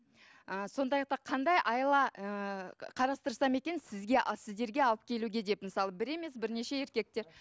ы сонда айтады қандай айла ы қарастырсам екен сізге сіздерге алып келуге деп мысалы бір емес бірнеше еркектер